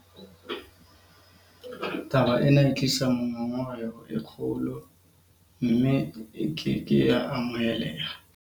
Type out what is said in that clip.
Taba ena e tlisa ngongoreho e kgolo, mme e ke ke ya amoheleha.